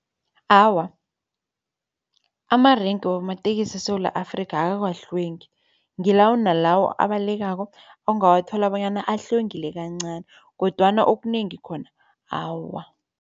Awa, amarenke wamatekisi eSewula Afrika awakahlwengi. Ngilawo nalawo abalekako ongawathola bonyana ahlwengile kancani kodwana okunengi khona, awa.